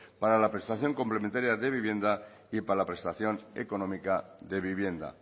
para la prestación complementaria de vivienda y para la prestación económica de vivienda